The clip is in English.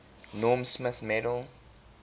norm smith medal